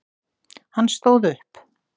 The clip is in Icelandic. Hann stóð upp.